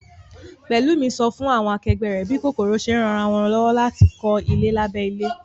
Pẹ̀lúmi sọ fún àwọn akẹgbẹ́ rẹ̀ bí kòkòrò ṣe ń ran ara wọn lọ́wọ́ láti kọ́ ilé lábẹ́ ilẹ̀